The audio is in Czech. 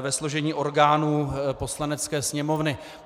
ve složení orgánů Poslanecké sněmovny.